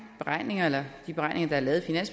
beregning eller de beregninger der er lavet